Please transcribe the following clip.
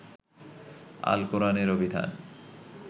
আল কোরআনের অভিধান